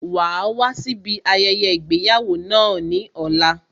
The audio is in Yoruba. Wàá wá síbi ayẹyẹ ìgbéyàwó náà ní ọ̀la